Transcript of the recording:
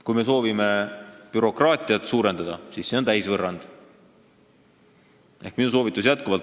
Kui me soovime bürokraatiat suurendada, siis see on täisvõrrand.